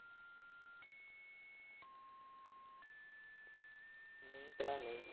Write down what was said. ਨਹੀਂ ਭਰਾ ਨਹੀਂ।